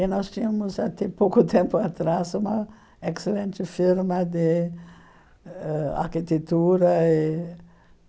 E nós tínhamos, até pouco tempo atrás, uma excelente firma de ãh arquitetura. E